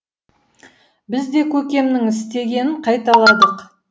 біз де көкемнің істегенін қайталадық